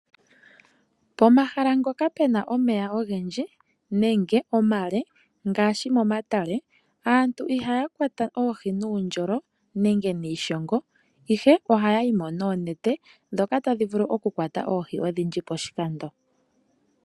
Pomahala ngoka pena omeya ogendji nenge omale, ngaashi momatale aantu iihakwata oohi nuundjolo nenge niishongo, ihe oha yayi mo noonete dhoka tadhi mvulu okukwata oohi odhindji poshikando.